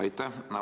Aitäh!